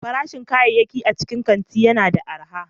Farashin kayayyaki a cikin kanti yana da arha.